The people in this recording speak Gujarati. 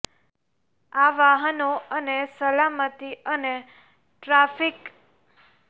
આ વાહનો અને સલામતી અને ટ્રાફિક સંચાલન સિસ્ટમો માર્ગ ઈન્ફ્રાસ્ટ્રક્ચર વચ્ચે સંચાર સક્રિય કરે છે